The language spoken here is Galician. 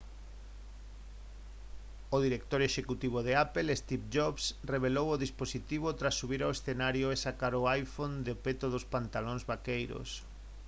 o director executivo de apple steve jobs revelou o dispositivo tras subir ao escenario e sacar o iphone do peto dos pantalóns vaqueiros